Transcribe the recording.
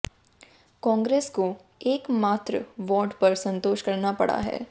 कांग्रेस को एक मात्र वार्ड पर संतोष करना पडा है